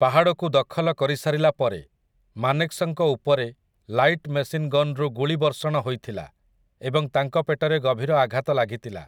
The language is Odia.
ପାହାଡ଼କୁ ଦଖଲ କରିସାରିଲା ପରେ, ମାନେକ୍‌ଶଙ୍କ ଉପରେ ଲାଇଟ୍ ମେସିନ୍‌ ଗନ୍‌ରୁ ଗୁଳି ବର୍ଷଣ ହୋଇଥିଲା ଏବଂ ତାଙ୍କ ପେଟରେ ଗଭୀର ଆଘାତ ଲାଗିଥିଲା ।